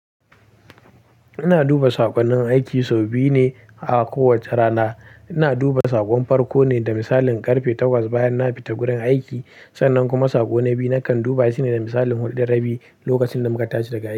Ina duba saƙonnin aiki sau biyu ne a kowacce rana. Ina duba saƙon farko ne da misalin ƙarfe takwas bayan na fita gurin aiki, sannan kuma saƙo na biyu nakan duba shi ne da misalin huɗu da rabi, lokacin da muka tashi daga a.